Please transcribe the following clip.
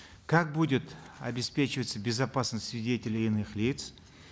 как будет обеспечиваться безопасность свидетелей и иных лиц